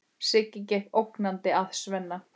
Siggi gekk ógnandi að Svenna.